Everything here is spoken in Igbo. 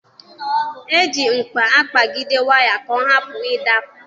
E ji mkpa akpagide waya ka ọ hapụ ịdapụ.